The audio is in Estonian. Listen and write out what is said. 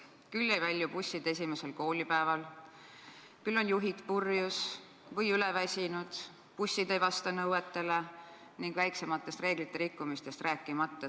Küll ei välju bussid esimesel koolipäeval, küll on juhid purjus või üleväsinud, bussid ei vasta nõuetele, väiksematest reeglite rikkumistest rääkimata.